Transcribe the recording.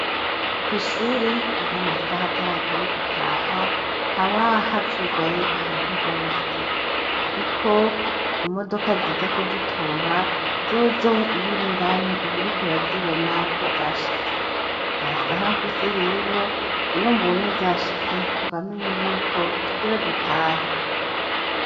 Ko ishure iyo amasaha ataragerawe gutaha habaha cugaye ahantu hose, ariko imodoka ziza kudutora zozoh iyura indani uburiku urazibona ko zashitse nta saha mfise rero iyo mbonye zashitse mbamenye yuko tugira dutahe.